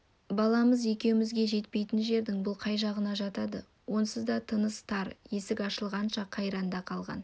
баламыз екеумізге жетпейтін жердің бұл қай жағына жатады онсыз да тынысы тар есік ашылғанша қайранда қалған